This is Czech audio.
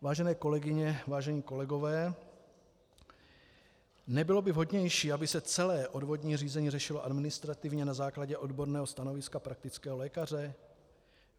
Vážené kolegyně, vážení kolegové, nebylo by vhodnější, aby se celé odvodní řízení řešilo administrativně na základě odborného stanoviska praktického lékaře?